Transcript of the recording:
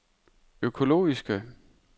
økologiske